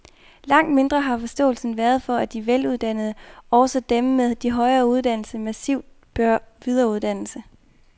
Langt mindre har forståelsen været for, at de veluddannede, også dem med de højeste uddannelser, massivt bør videreuddannes.